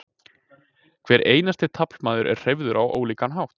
Hver einasti taflmaður er hreyfður á ólíkan hátt.